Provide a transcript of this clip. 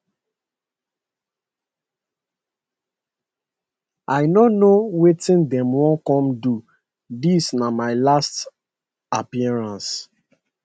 i no know wetin dem wan come do dis na my last appearance